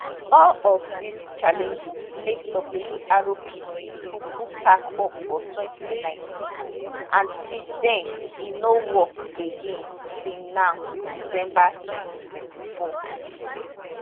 all of dis challenges make wrpc kuku pack up for 2019 and since den e no work again till now december 2024